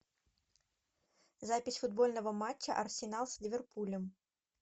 запись футбольного матча арсенал с ливерпулем